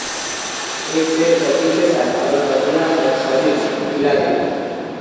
एक सेट गति के साथ और पहिया और शरीर हिला देगा